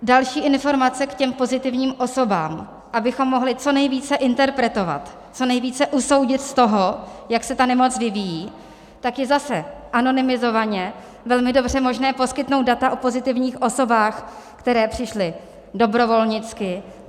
Další informace k těm pozitivním osobám, abychom mohli co nejvíce interpretovat, co nejvíce usoudit z toho, jak se ta nemoc vyvíjí, tak je zase anonymizovaně velmi dobře možné poskytnout data o pozitivních osobách, které přišly dobrovolnicky.